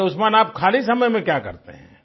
अच्छा उस्मान आप खाली समय में क्या करते हैं